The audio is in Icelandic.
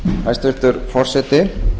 hæstvirtur forseti